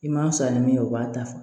I m'a fisaya ni min ye o b'a ta fɔ